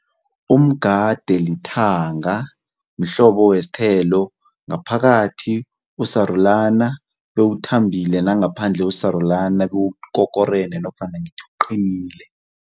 Umgade lithanga. Mhlobo wesithelo ngaphakathi usarulana bewuthambile nangaphandle usarulana bewukokorene nofana ngithi uqinile.